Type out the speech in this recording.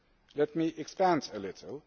Let me expand a little.